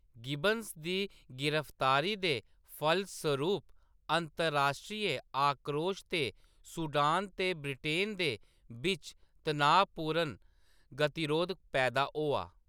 Gibbons दी गिरफ्तारी दे फलसरूप अंतर्राश्ट्रीय आक्रोश ते सूडान ते ब्रिटेन दे बिच्च तनाऽ पूर्ण गतिरोध पैदा होआ।